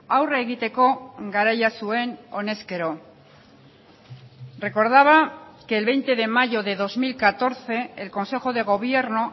aurre egiteko garaia zuen honezkero recordaba que el veinte de mayo de dos mil catorce el consejo de gobierno